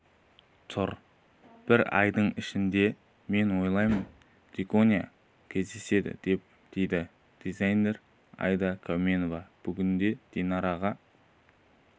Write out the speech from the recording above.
тұр бір айдың ішінде мен ойлаймын дикония кездеседі деп дейді дизайнер аида кауменова бүгінде динараға